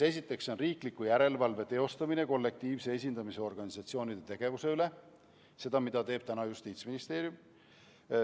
Esiteks, riikliku järelevalve teostamine kollektiivse esindamise organisatsioonide tegevuse üle – see, mida teeb praegu Justiitsministeerium.